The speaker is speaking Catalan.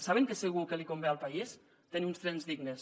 saben què és segur que li convé al país tenir uns trens dignes